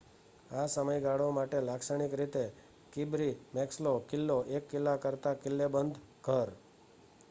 આ સમયગાળા માટે લાક્ષણિક રીતે કિર્બી મેક્સલો કિલ્લો એક કિલ્લા કરતાં કિલ્લેબંધ ઘર